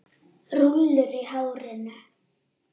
Rúllur í hárinu.